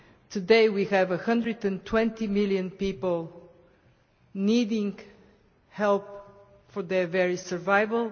Today, we have 120 million people needing help for their very survival.